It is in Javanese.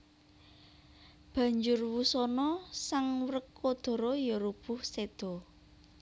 Banjur wusana sang Wrekodara ya rubuh séda